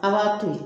An b'a to yen